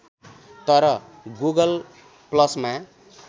तर गुगल ‌प्लसमा